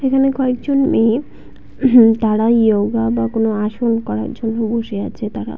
এখানে কয়েকজন মেয়ে হু তারা যোগা বা আসন করার জন্য বসে আছে তারা।